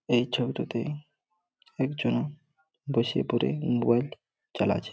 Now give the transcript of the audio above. এই ছবিটাতেই একজন বইসে পড়ে মোবাইল চালাছে ।